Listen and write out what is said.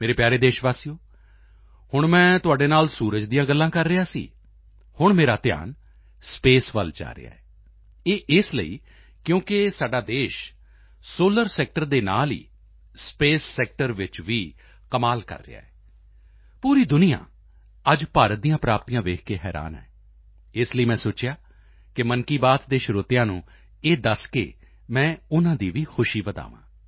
ਮੇਰੇ ਪਿਆਰੇ ਦੇਸ਼ਵਾਸੀਓ ਹੁਣ ਮੈਂ ਤੁਹਾਡੇ ਨਾਲ ਸੂਰਜ ਦੀਆਂ ਗੱਲਾਂ ਕਰ ਰਿਹਾ ਸੀ ਹੁਣ ਮੇਰਾ ਧਿਆਨ ਸਪੇਸ ਵੱਲ ਜਾ ਰਿਹਾ ਹੈ ਇਹ ਇਸ ਲਈ ਕਿਉਂਕਿ ਸਾਡਾ ਦੇਸ਼ ਸੋਲਰ ਸੈਕਟਰ ਦੇ ਨਾਲ ਹੀ ਸਪੇਸ ਸੈਕਟਰ ਵਿੱਚ ਵੀ ਕਮਾਲ ਕਰ ਰਿਹਾ ਹੈ ਪੂਰੀ ਦੁਨੀਆ ਅੱਜ ਭਾਰਤ ਦੀਆਂ ਪ੍ਰਾਪਤੀਆਂ ਦੇਖ ਕੇ ਹੈਰਾਨ ਹੈ ਇਸ ਲਈ ਮੈਂ ਸੋਚਿਆ ਮਨ ਕੀ ਬਾਤ ਦੇ ਸਰੋਤਿਆਂ ਨੂੰ ਇਹ ਦੱਸ ਕੇ ਮੈਂ ਉਨ੍ਹਾਂ ਦੀ ਵੀ ਖੁਸ਼ੀ ਵਧਾਵਾਂ